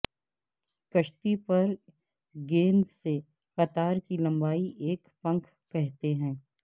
کشتی پر گیند سے قطار کی لمبائی ایک پنکھ کہتے ہیں